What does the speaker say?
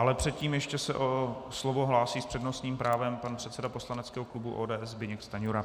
Ale předtím ještě se o slovo hlásí s přednostním právem pan předseda poslaneckého klubu ODS Zbyněk Stanjura.